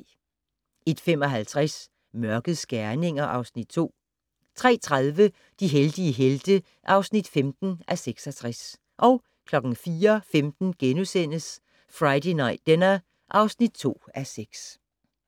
01:55: Mørkets gerninger (Afs. 2) 03:30: De heldige helte (15:66) 04:15: Friday Night Dinner (2:6)*